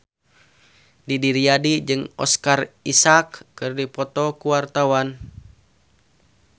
Didi Riyadi jeung Oscar Isaac keur dipoto ku wartawan